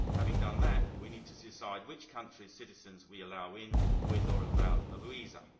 Having done that, we need to decide which countries' citizens we allow in, with or without a visa.